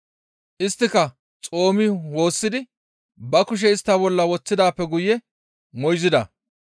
Isttika xoomi woossidi ba kushe istta bolla woththidaappe guye moyzida.